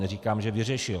Neříkám, že vyřešil.